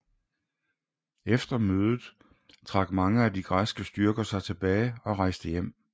Efter mødet trak mange af de græske styrker sig tilbage og rejste hjem